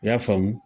I y'a faamu